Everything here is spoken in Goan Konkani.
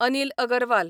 अनील अगरवाल